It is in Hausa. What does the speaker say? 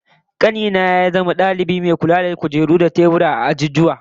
Kani na ya zama dalibi mai kula da kujeru da teburan azuzuwa, dakunan kwana da ofisoshi